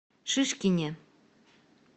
шишкине